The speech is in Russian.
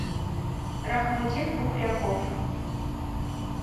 рахмудин бухряков